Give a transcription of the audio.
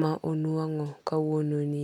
ma onuang'o kawuono nie.